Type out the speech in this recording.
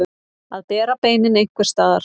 Að bera beinin einhvers staðar